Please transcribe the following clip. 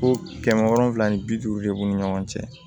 Ko kɛmɛ wolonwula ni bi duuru de b'u ni ɲɔgɔn cɛ